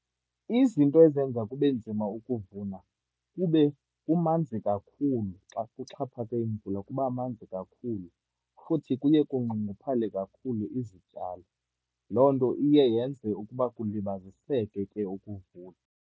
Izinto ezenza kube nzima ukuvuna, kube kumanzi kakhulu. Xa kuxhaphake imvula kuba manzi kakhulu, futhi kuye kunxunguphale kakhulu izityalo. Loo nto iye yenze ukuba kulibaziseke ke ukuvuna.